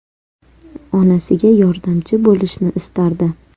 Onasiga yordamchi bo‘lishni istardi.